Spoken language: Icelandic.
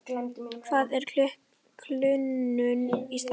Hvað er kulnun í starfi?